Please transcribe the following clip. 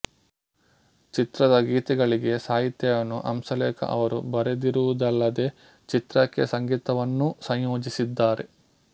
ಚಿತ್ರದ ಗೀತೆಗಳಿಗೆ ಸಾಹಿತ್ಯವನ್ನು ಹಂಸಲೇಖ ಅವರು ಬರೆದಿರುವುದಲ್ಲದೆ ಚಿತ್ರಕ್ಕೆ ಸಂಗೀತವನ್ನೂ ಸಂಯೋಜಿಸಿದ್ದಾರೆ